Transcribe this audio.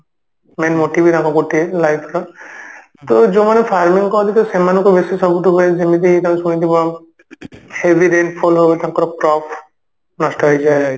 main motive ହିଁ ତାଙ୍କର ଗୋଟିଏ life ର ତ ଯାଉମାନେ farming କରନ୍ତି ତ ସେମାନଙ୍କୁ ବେଶୀ ସବୁଠୁ ଯେମିତି ତମେ ଶୁଣିଥିବ ing heavy rain fall ହୁଏ ତାଙ୍କର crop ନଷ୍ଟ ହେଇଯାଏ